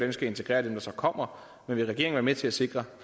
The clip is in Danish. vi skal integrere dem der kommer men vil regeringen være med til at sikre